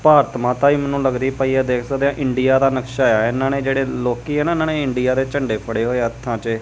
ਭਾਰਤ ਮਾਤਾ ਵੀ ਮੈਨੂੰ ਲੱਗਦੀ ਪਈ ਐ ਦੇਖ ਸਕਦੇ ਆ ਇੰਡੀਆ ਦਾ ਨਕਸ਼ਾ ਐ ਇਹਨਾਂ ਨੇ ਜਿਹੜੇ ਲੋਕੀ ਆ ਇਹਨਾਂ ਨੇ ਇੰਡੀਆ ਦੇ ਝੰਡੇ ਫੜੇ ਹੋਏ ਆ ਹੱਥਾਂ ਚ --